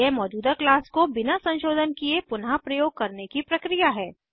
यह मौजूदा क्लास को बिना संशोधन किये पुनः प्रयोग करने की प्रक्रिया है